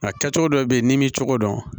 Nka kɛcogo dɔ bɛ ye n'i m'i cogo dɔn